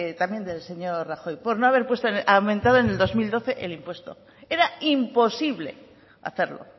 también del señor rajoy por no haber aumentado en el dos mil doce el impuesto era imposible hacerlo